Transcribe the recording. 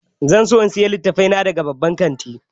Zan so in sayi littattafai na daga babban kantin.